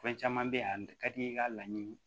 Fɛn caman bɛ yan a ka di i ye i ka laɲini